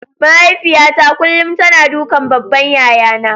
Mahaifiyata kullum tana dukan babban yayana.